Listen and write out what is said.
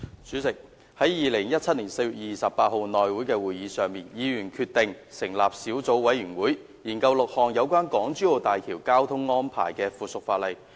主席，在2017年4月28日內務委員會會議上，議員決定成立小組委員會，研究6項有關港珠澳大橋交通安排的附屬法例。